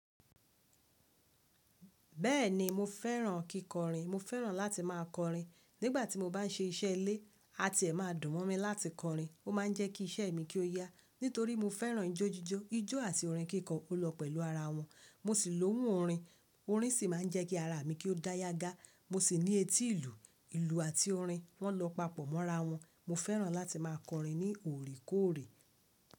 Bẹ́ẹ̀ni mo fẹ́ràn kíkọrin. Mo fẹ́ràn láti má a kọrin. Nígbà tí mo bá n ṣe iṣẹ́ ilé, àti ẹ̀ má a dùn mọ́ mi láti kọrin, ó má a ń jẹ́ kí ìṣẹ́ mi kí ó yá. Nítorí mo fẹ́ràn ijó jíjó, ijó àti orin kíkọ o lọ pẹ̀lú ara wọn. Mo sì lóhùn orin, orin sì má a ń jẹ́ kí ara mi kí ó dá yágá. Mo sì ní etí ìlù, ìlù àti orin wọn lọ papọ̀ mọ́ra wọn. Mo fẹ́ràn láti má a kọrin ní oòrekoòrè.